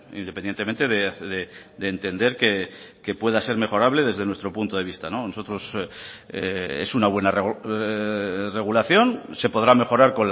independientemente de entender que pueda ser mejorable desde nuestro punto de vista nosotros es una buena regulación se podrá mejorar